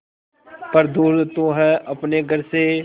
पर दूर तू है अपने घर से